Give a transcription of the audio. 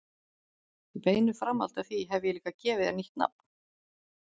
Í beinu framhaldi af því hef ég líka gefið þér nýtt nafn.